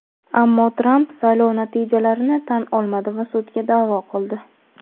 ammo Tramp saylov natijalarini tan olmadi va sudga da’vo qildi.